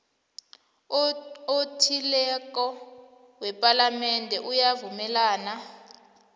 othileko wepalamende uyavumelana